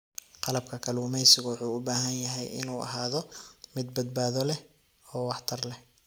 Qalabka kalluumaysigu wuxuu u baahan yahay inuu ahaado mid badbaado leh oo waxtar leh.